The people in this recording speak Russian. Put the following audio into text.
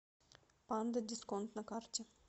панда дисконт на карте